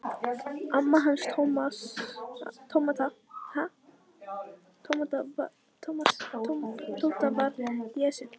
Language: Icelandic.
Amma hans Tóta var í essinu sínu.